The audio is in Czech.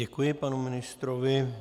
Děkuji panu ministrovi.